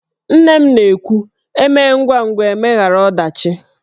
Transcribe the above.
Nne m na-ekwu "E mee ngwangwa, e meghara ọdachi"